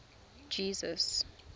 jesus